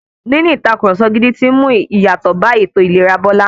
Níní ìtàkurọ̀sọ gidi ti ń mú ìyàtọ̀ bá ètò ìlera Bọ́lá.